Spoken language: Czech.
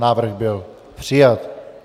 Návrh byl přijat.